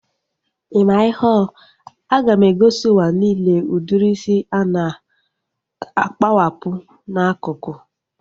I maa ihe ọ? A ga m egosi ụwa nille udiri isi a na-akpowapu n'akụkụ